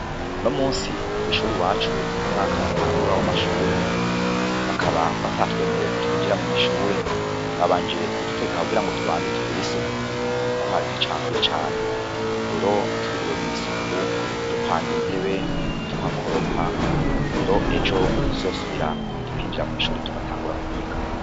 Unomusi kw'ishuri iwacu niho umwaka watangura w'amashure, baka batatwemereye ko twinjira mw'ishuri ,nabanje kudutegeka ngo tubanze tugir'isuku ,kuko hari hacafuye cane, rero twiriwe mw'isuku dupanga intebe tuhakubura, tuhakoropa rero ejo Niho tuzosubira kwinjira mwishure tugatangura kwiga .